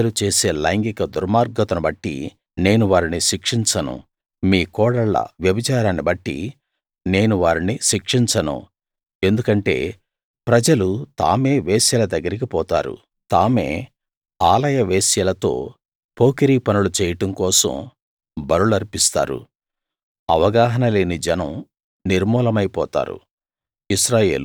మీ కుమార్తెలు చేసే లైంగిక దుర్మార్గతను బట్టి నేను వారిని శిక్షించను మీ కోడళ్ళ వ్యభిచారాన్ని బట్టి నేను వారిని శిక్షించను ఎందుకంటే ప్రజలు తామే వేశ్యల దగ్గరికి పోతారు తామే ఆలయ వేశ్యలతో పోకిరీ పనులు చెయ్యడం కోసం బలులర్పిస్తారు అవగాహన లేని జనం నిర్మూలమైపోతారు